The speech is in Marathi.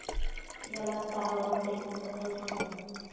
याच तालावर ते कथाही सांगतात.